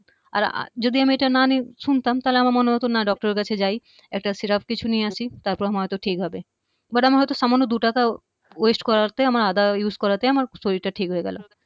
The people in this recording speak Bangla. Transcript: আর যদি আমি এটা না নি শুনতাম তাহলে আমার মনে হতো না doctor এর কাছে যাই একটা সিরাপ কিছু নিয়ে আসি তারপর হয়তো ঠিক হবে but আমার হয়ত সামান্য দুটাকা waste করাতে আদা use করাতে আমার শরীরটা ঠিক হয়ে গেলো